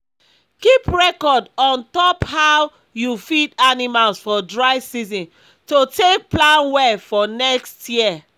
keep record on top how you feed animals for dry season to take plan well for next year